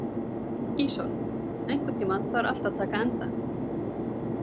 Ísold, einhvern tímann þarf allt að taka enda.